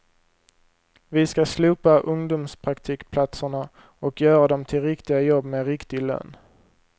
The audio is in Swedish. Vi ska slopa ungdomspraktikplatserna och göra dem till riktiga jobb med riktig lön.